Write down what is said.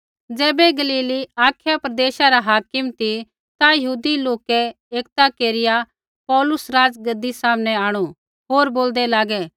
ज़ैबै Galilee Achaia प्रदेशा रा हाकिम ती ता यहूदी लोकै एकता केरिया पौलुस राज़गद्दी सामनै आंणु होर बोलदै लागै